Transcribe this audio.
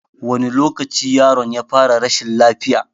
Wane lokaci yaron ya fara rashin lafiya?